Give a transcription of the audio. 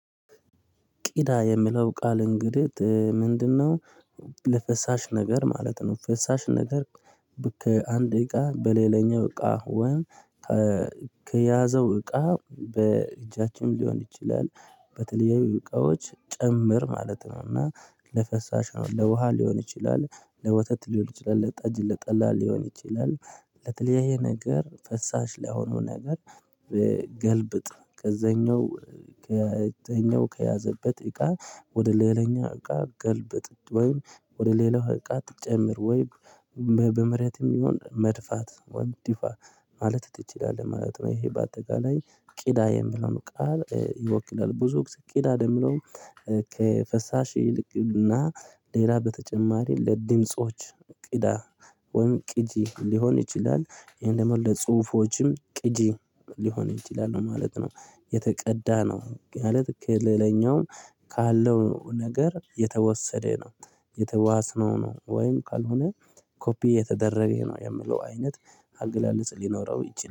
ቂዳ የሚለው ቃል እንግዲህ ምንድነው? ለፈሳሽ ነገር ማለት ነው ፈሳሽ ነገር። ከአንድ እቃ በሌለኛው እቃ ወይም ከያዘው እቃ በእጃችን ሊሆን ይችላል በተለያዩ እቃዎች ጭምር ማለት ነው። እና ለፈሳሽ ነው ለውሃ ሊሆን ይችላል ለወተት ሊሆን ይችላል ለጠጅ፣ ለጠላ ሊሆን ይችላል። ለተለያየ ነገር ፈሳሽ ላይ የሆኑ ነገር በገልብጥ ከዛኛው ከዛኛው ከያዘበት እቃ ወደ ሌላኛው እቃ ገልበጥ ወይም ወደ ሌላው እቃ ትጨምር ወይም በመሬትም ይሁን መድፋት ወይም ዲፋ ማለት ትችላለህ ማለት ነው። ይሄ በአጠቃላይ ቂዳ የሚለውን ቃል ይወክላል። ብዙ ቂዳ ለሚለው ከፈሳሽ ይልቅና ሌላ በተጨማሪ ለድምጾች ቂዳ ወይም ቂጂ ሊሆን ይችላል። ይሄን ደግሞ ለጽሁፎችም ቅጂ ሊሆን ይችላል ማለት ነው። የተቀዳ ነው ማለት ከለለኛው ካለው ነገር የተወሰደ ነው። የተዋስነው ነው ወይም ካልሆነ ኮፒ የተደረገ ይሄ ነው የምለው አይነት አገላለጽ ሊኖረው ይችላል